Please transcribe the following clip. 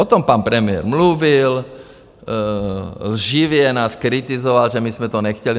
O tom pan premiér mluvil, lživě nás kritizoval, že my jsme to nechtěli.